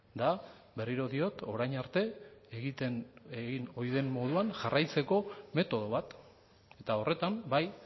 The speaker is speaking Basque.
da berriro diot orain arte egiten egin ohi den moduan jarraitzeko metodo bat eta horretan bai